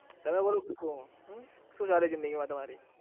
તમે બરાબર હમમ શું ચાલે છે તમારી